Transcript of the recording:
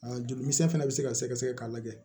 Aa joli misɛn fɛnɛ be se ka sɛgɛsɛgɛ k'a lajɛ